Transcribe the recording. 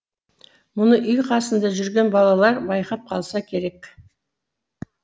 мұны үй қасында жүрген балалар байқап қалса керек